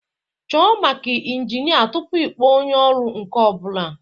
Chọọ maka injinia tupu ịkpọọ onye ọrụ nka ọ bụla